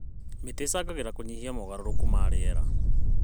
Mĩtĩ ĩcangagĩra harĩ kũnyihia mogarũrũku ma rĩera.